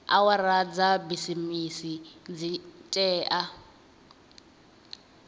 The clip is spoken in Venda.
awara dza bisimisi dzi tea